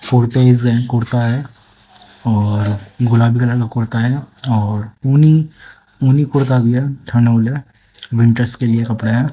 कुर्ता है और गुलाबी कलर का कुर्ता है और ऊनी ऊनी कुर्ता भी है कपड़ा है